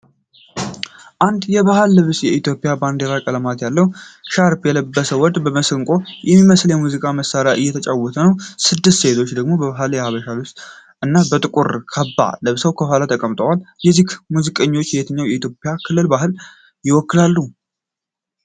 አንድ የባህል ልብስና የኢትዮጵያ ባንዲራ ቀለማት ያለው ሻርፕ የለበሰ ወንድ፣ መስንቆ የሚመስል የሙዚቃ መሣሪያ እየተጫወተ ነው። ስድስት ሴቶች ደግሞ በባህላዊ የሐበሻ ልብስ እና በጥቁር ካባ ለብሰው ከኋላው ተቀምጠዋል። እነዚህ ሙዚቀኞች የትኛውን የኢትዮጵያ ክልል ባህል ይወክላሉ?